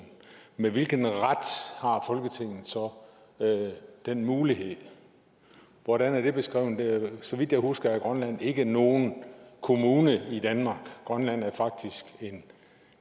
med hvilken ret har folketinget så den mulighed hvordan er det beskrevet så vidt jeg husker er grønland ikke nogen kommune i danmark grønland er faktisk